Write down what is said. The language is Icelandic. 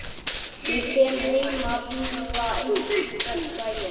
Ég kem heim með hringana einhvern daginn.